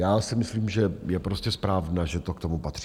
Já si myslím, že je prostě správné, že to k tomu patří.